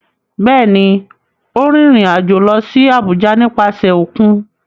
Bẹ́ẹ̀ ni, ó rìnrìn-àjò lọ sí Àbújá nípasẹ̀ òkun.